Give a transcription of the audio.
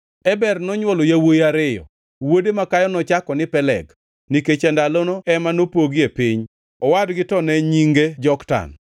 Eber nonywolo yawuowi ariyo: wuode makayo nochako ni Peleg, nikech e ndalono ema nopogie piny, owadgi to ne nyinge Joktan.